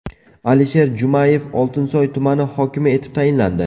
Alisher Jumayev Oltinsoy tumani hokimi etib tayinlandi.